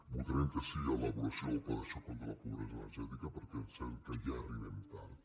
votarem que sí a l’elaboració del pla de xoc contra la pobresa energètica perquè sabem que ja arribem tard